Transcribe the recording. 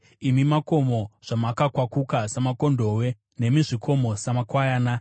imi makomo zvamakakwakuka samakondobwe, nemi zvikomo, samakwayana?